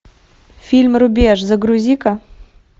фильм рубеж загрузи ка